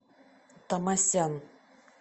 тамасян